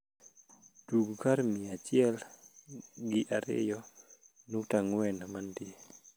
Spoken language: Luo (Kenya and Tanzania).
tug kar mia achiel gi areiyo nukta angwen mantie